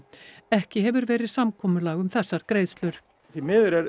ekki hefur verið samkomulag um þessar greiðslur því miður